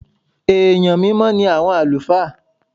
Èèyàn mímọ́ ní àwọn àlùfáà.